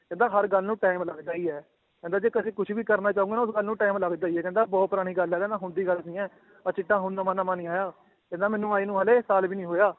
ਕਹਿੰਦਾ ਹਰ ਗੱਲ ਨੂੰ time ਲੱਗਦਾ ਹੀ ਹੈ, ਕਹਿੰਦਾ ਜੇ ਕਦੇ ਕੁਛ ਵੀ ਕਰਨਾ ਚਾਹੋਂਗੇ ਨਾ ਤਾਂ ਤੁਹਾਨੂੰ time ਲੱਗਦਾ ਹੀ ਹੈ ਕਹਿੰਦਾ ਬਹੁਤ ਪੁਰਾਣੀ ਗੱਲ ਹੈ ਕਹਿੰਦਾ ਹੁਣ ਦੀ ਗੱਲ ਨੀ ਹੈ ਆਹ ਚਿੱਟਾ ਹੁਣ ਨਵਾਂ ਨਵਾਂ ਨੀ ਆਇਆ ਕਹਿੰਦੇ ਮੈਨੂੰ ਆਏ ਨੂੰ ਹਾਲੇ ਸਾਲ ਵੀ ਨੀ ਹੋਇਆ